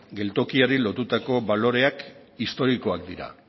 geltokiari lotutako baloreak historikoak dira